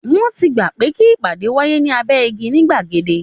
Wọ́n ti gbà pé kí ìpàdé wáyé ní abẹ́ igi ní gbàgede